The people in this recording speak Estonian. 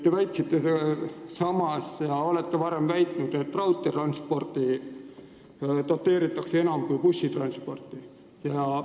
Te väitsite ja olete ka varem väitnud, et raudteetransporti doteeritakse enam kui bussitransporti.